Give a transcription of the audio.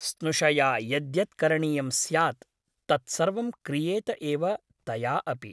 स्नुषया यद्यत् करणीयं स्यात् तत्सर्वं क्रियेत एव तया अपि ।